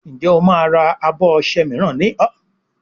Njé o má rà abọ ọṣẹ míràn ní ol?